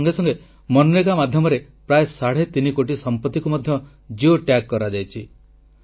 ତା ସଙ୍ଗେ ସଙ୍ଗେ ମନରେଗା ମାଧ୍ୟମରେ ପ୍ରାୟ ସାଢ଼େ ତିନିକୋଟି ସମ୍ପତ୍ତିକୁ ମଧ୍ୟ ଜିଓ ଟ୍ୟାଗ୍ କରାଯାଇଛି